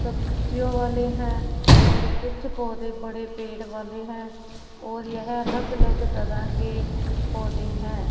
सब्जियों वाले हैं और कुछ पौधे बड़े पेड़ वाले है और यह अलग अलग तरह के पौधे हैं।